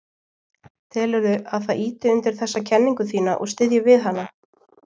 Telurðu að það ýti undir þessa kenningu þína og styðji við hana?